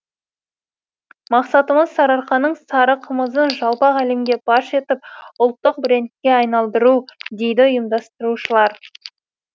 мақсатымыз сарыарқаның сары қымызын жалпақ әлемге паш етіп ұлттық брендке айналдыру дейді ұйымдастырушылар